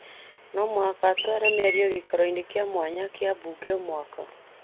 no mũhaka atware mĩario gĩikaro-inĩ kĩa mwanya kĩa mbunge o mwaka.